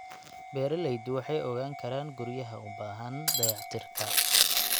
Beeraleydu waxay ogaan karaan guryaha u baahan dayactirka.